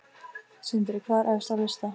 Sindri: Hvað er efst á lista?